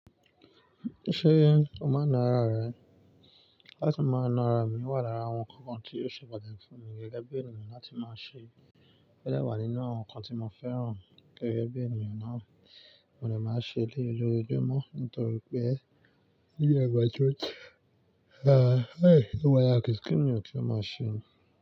Ṣé o máa ń na ara rẹ? Láti máa na ara mi, wà lára àwọn ǹkan kan tí óò ṣe pàtàkì fún mi gẹ́gẹ́ bí ènìyàn láti máa ṣe. Ó de wà nínú àwọn ǹkan tí mo fẹ́ràn gẹ́gẹ́ bí ènìyàn náà, mo de màá ṣe lé é lójoojúmọ́ nítorí pé ó yẹ wá ju ọ̀tọ̀ọ̀tọ̀. Ó wà yá kì í kí ni ọ̀tọ̀ọ̀tọ̀ màá ṣe.